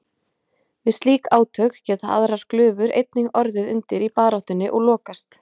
Við slík átök geta aðrar glufur einnig orðið undir í baráttunni og lokast.